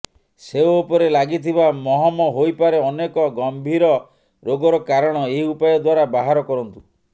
ସେଓ ଉପରେ ଲାଗିଥିବା ମହମ ହୋଇପାରେ ଅନେକ ଗମ୍ଭୀର ରୋଗର କାରଣ ଏହି ଉପାୟ ଦ୍ୱାରା ବାହାର କରନ୍ତୁ